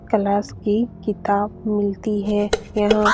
Class की किताब मिलती है यहाँ।